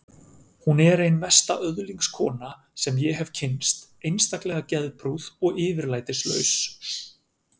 Hún er ein mesta öðlingskona sem ég hef kynnst, einstaklega geðprúð og yfirlætislaus.